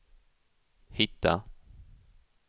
hitta